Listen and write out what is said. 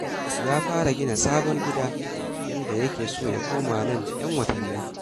Ya fara gina sabon gida, inda yake so ya koma nan da 'yan watanni.